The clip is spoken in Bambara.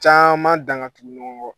Caman dan ka tugun nɔgɔn kɔ